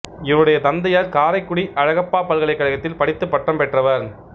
இவருடைய தந்தையார் காரைக்குடி அழகப்பா பல்கலைக்கழகத்தில் படித்து பட்டம் பெற்றவர்